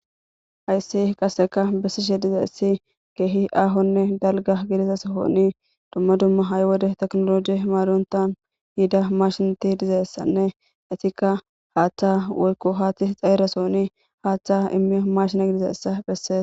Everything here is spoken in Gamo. Hayssi qasseka bessishe diza issi geehi aahonne dalga gilizasohoni dumma dumma hay wode teknoloji maaruntan hida mashinati dizeessanne itikka haaththa wolko haatti xaeresooni haaththa immio mashina dizeessa phessees